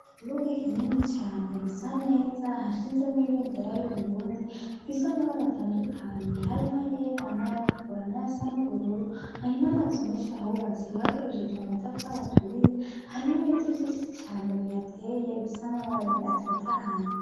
Ikibuga kinini cane gisa neza hashinzemwo ibendera y'Uburundi ifise amabara atandukanye harimwo ayera , n'ayatukura nayasa n'ubururu , hari n'amazu menshi ahubatse bakoresheje amatafari aturiye , hari n'ibiti vyinshi cane bihateye bifise amababi atotahaye .